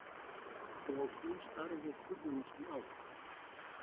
Og hún starði furðulostin á-